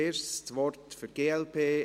– Das Wort wird gewünscht.